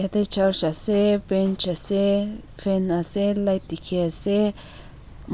Yete church ase bench ase fan ase light dikhiase